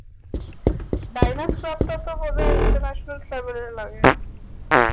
diners club টা তো বোধয় international server এ লাগে